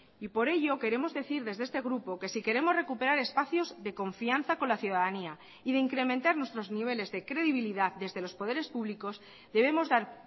y por ello queremos decir desde este grupo que si queremos recuperar espacios de confianza con la ciudadanía y de incrementar nuestros niveles de credibilidad desde los poderes públicos debemos dar